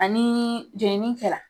Nga ni jenini kɛ la